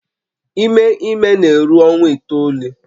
Ime ime na-eru ọnwa itoolu